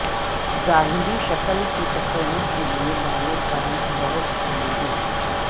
ظاہری شکل کے تصور کے لئے بالوں کا رنگ بہت اہم ہے